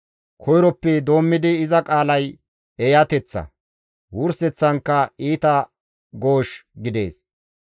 Koyroppe doommidi iza qaalay eeyateththa; wurseththankka iita goosh gidees.